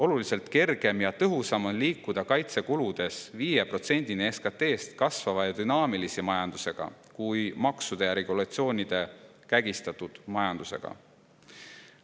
Oluliselt kergem ja tõhusam on liikuda kaitsekuludes 5%-ni SKT-st kasvava ja dünaamilise majandusega kui maksude ja regulatsioonide kägistatud majandusega.